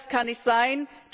Das kann nicht sein.